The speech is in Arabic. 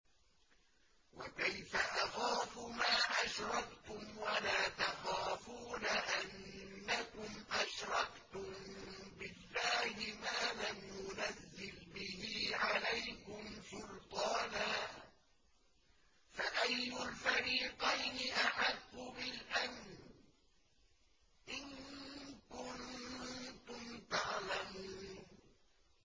وَكَيْفَ أَخَافُ مَا أَشْرَكْتُمْ وَلَا تَخَافُونَ أَنَّكُمْ أَشْرَكْتُم بِاللَّهِ مَا لَمْ يُنَزِّلْ بِهِ عَلَيْكُمْ سُلْطَانًا ۚ فَأَيُّ الْفَرِيقَيْنِ أَحَقُّ بِالْأَمْنِ ۖ إِن كُنتُمْ تَعْلَمُونَ